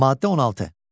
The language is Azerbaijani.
Maddə 16.